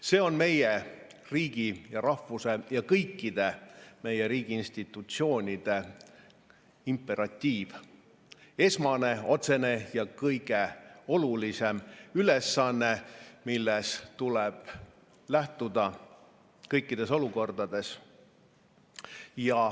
See on meie riigi ja rahvuse ja kõikide meie riigi institutsioonide imperatiiv – esmane, otsene ja kõige olulisem ülesanne, millest tuleb lähtuda kõikides olukordades.